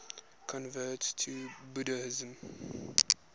converts to buddhism